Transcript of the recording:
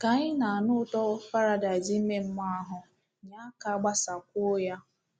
Ka ị na-anụ ụtọ paradaịs ime mmụọ ahụ, nye aka gbasakwuo ya!